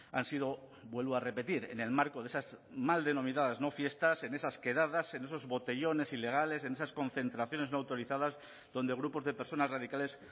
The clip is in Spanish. han sido vuelvo a repetir en el marco de esas mal denominadas no fiestas en esas quedadas en esos botellones ilegales en esas concentraciones no autorizadas donde grupos de personas radicales